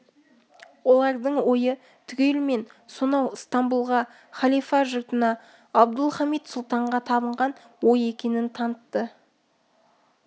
олардың ойы түгелімен сонау стамбұлға халифа жұртына абдұлхамит сұлтанға табынған ой екенін танытты